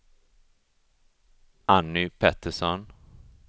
Anny Pettersson